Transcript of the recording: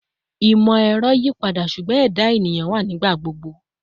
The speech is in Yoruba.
Imọ-ẹrọ yipada, ṣugbọn ẹda eniyan wa nigbagbogbo